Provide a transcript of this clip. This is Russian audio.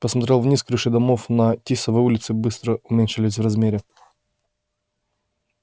посмотрел вниз крыши домов на тисовой улице быстро уменьшались в размере